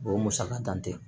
O musaka tan tɛ